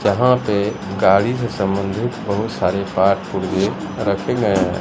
यहां पे गाड़ी से संबंधित बहुत सारे पार्ट पुर्जे रखें गए हैं।